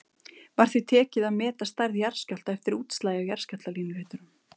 Var því tekið að meta stærð jarðskjálfta eftir útslagi á jarðskjálftalínuritum.